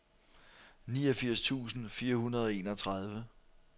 niogfirs tusind fire hundrede og enogtredive